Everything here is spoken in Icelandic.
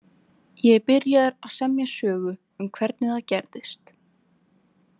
Ég er byrjaður að semja sögu um hvernig það gerðist.